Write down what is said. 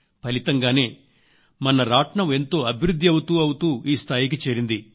ఫలితంగానే మన రాట్నం ఎంతో అభివృద్ధి అవుతూ అవుతూ ఈ స్థాయికి చేరింది